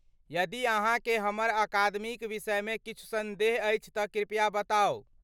यदि अहाँकेँ हमर अकादमीक विषयमे किछु सन्देह अछि तँ कृपया बताउ।